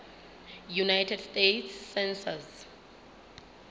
united states census